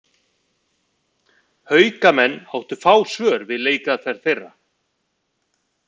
Haukamenn áttu fá svör við leikaðferð þeirra.